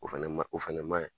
O fɛnɛ ma, o fɛnɛ maa ye.